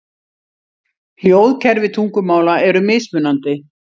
Hljóðkerfi tungumála eru mismunandi.